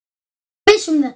Ertu viss um þetta?